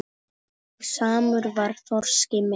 Og samur var þroski minn.